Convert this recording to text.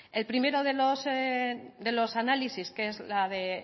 el primero de los análisis que es la de